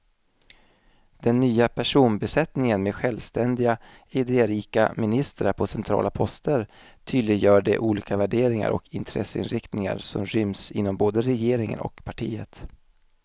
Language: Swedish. Den nya personbesättningen med självständiga, idérika ministrar på centrala poster tydliggör de olika värderingar och intresseinriktningar som ryms inom både regeringen och partiet.